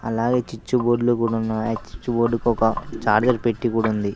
అలాగే చిచ్చు బోర్డ్లు కూడున్నాయ్ ఆ చిచ్చు బోర్డుకు ఒక చార్జర్ పెట్టి కూడుంది .